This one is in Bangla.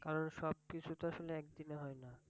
কারণ সব কিছু তো আসলে একদিনে হয় না।